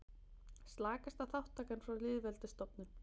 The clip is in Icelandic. Slakasta þátttakan frá lýðveldisstofnun